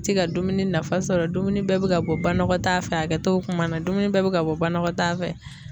ti ka dumuni nafa sɔrɔ dumuni bɛɛ bi ka bɔ banakɔtaa fɛ hakɛto bɛ kuma na dumuni bɛɛ bɛ ka bɔ banakɔtaa fɛ.